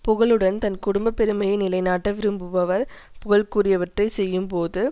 புகழுடன் தன் குடும்ப பெருமையை நிலைநாட்ட விரும்புபவர் புகழுக்குரியவற்றைச் செய்யும்போதும்